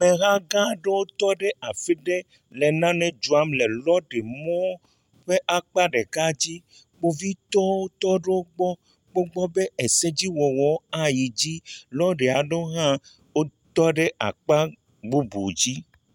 Ameha gã aɖewo tɔ ɖe afi ɖe le nane dzram le lɔri mɔ ƒe akpa ɖeka dzi, kpovitɔwo hã le egbɔ kpɔm be, ese dziwɔwɔ ayi dzi. Lɔri aɖewo hã tɔ ɖe akpa bubu dzi.